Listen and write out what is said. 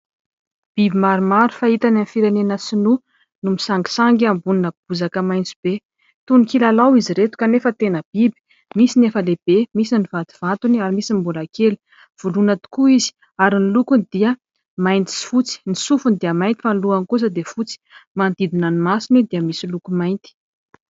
Biby maromaro fahita any amin'ny firenena sinoa no misangisangy ambonina bozaka maitso be. Toy ny kilalao izy ireto kanefa tena biby, misy ny efa lehibe misy ny vatovatony ary misy ny mbola kely, voloina tokoa izy ary ny lokony dia mainty sy fotsy, ny sofiny dia mainty fa ny lohany kosa dia fotsy, manodidina ny masony dia misy loko mainty.